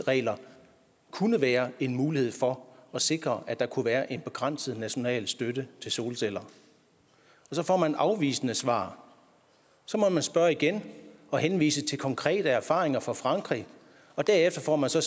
regler kunne være en mulighed for at sikre at der kunne være en begrænset national støtte til solceller og så får man et afvisende svar så må man spørge igen og henvise til konkrete erfaringer fra frankrig og derefter får man så